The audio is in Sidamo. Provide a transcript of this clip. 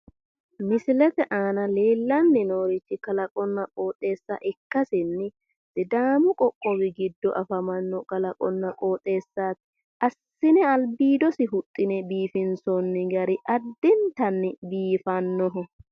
Misilete aana leellanni noorichi kalaqonna qooxeessa ikkasinni sidaamu qoqqowi giddo afamanno kalaqonna qooxeessaati assine albiidosi huxxi'ne biifinsoonni gari addintanni biifannoho.